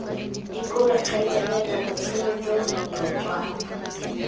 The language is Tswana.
dikobe kgaitsadiaka botshelo jo leotwana